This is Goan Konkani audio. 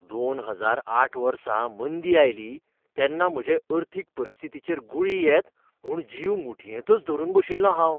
दोन हजार आठ वर्सा मंदी आयली तेन्ना म्हजे अर्थीक परिस्थितीचेर गुळी येत म्हूण जीव मुठयेंतच धरून बशिल्लों हांव.